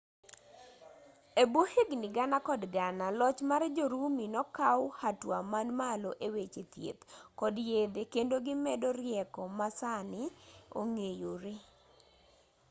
ebwo higni gana kod gana loch mar jo-rumi nokaw hatua man malo eweche thieth kod yedhe kendo gimedo rieko masani ong'eyoree